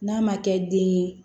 N'a ma kɛ den ye